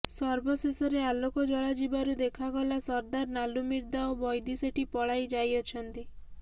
ସର୍ବଶେଷରେ ଆଲୋକ ଜଳାଯିବାରୁ ଦେକାଗଲା ସରଦାର ନାଲୁମିର୍ଦ୍ଧା ଓ ବୈଦି ଶେଠୀ ପଳାଇ ଯାଇଅଛନ୍ତି